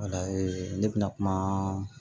ne bɛna kuma